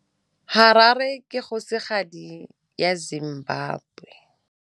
Harare ke kgosigadi ya Zimbabwe.